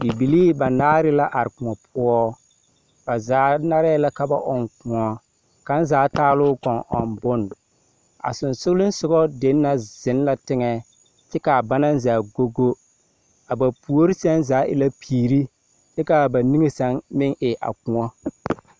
Bibilii banaare la are kõɔ poɔ. Ba zaa narɛɛ la ka ba ɔŋ kõɔ. Kaŋ zaa taa lɔɔ koŋ ɔŋ bon. A sensolesogɔ den na zeŋ la teŋɛɛ, kyɛ kaa banɛɛ zaa go go. A ba puori seŋ zaa e la piiri kyɛ kaa ba niŋe se meŋ e a kõɔ.